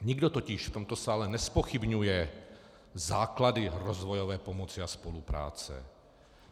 Nikdo totiž v tomto sále nezpochybňuje základy rozvojové pomoci a spolupráce.